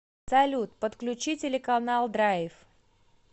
салют подключи телеканал драйв